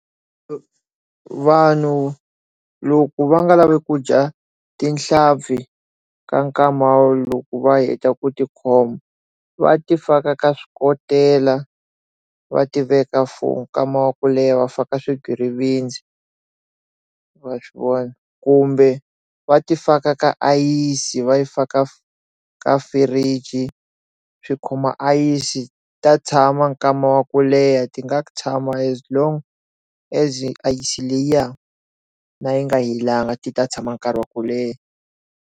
Vanhu loko va nga lavi kudya tinhlampfi ka nkwama loku va heta ku tikhomba va ti faka ka swikotela va tiveka for nkama wa ku leha va faka ka swigwitsirisi va swivona kumbe va ti faka ka ayisi va yi fika ka fridge swi khoma ayisi ta tshama nkama wa ku leha ti nga tshama as long as ayisi liya ya na yi nga hi langa ti ta tshama nkarhi wa ku leha.